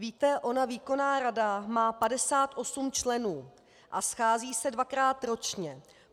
Víte, ona výkonná rada má 58 členů a schází se dvakrát ročně.